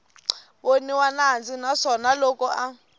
voniwa nandzu naswona loko a